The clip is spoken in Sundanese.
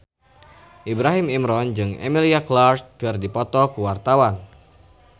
Ibrahim Imran jeung Emilia Clarke keur dipoto ku wartawan